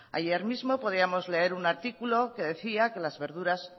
ayer mismo podíamos leer un artículo que decía que las verduras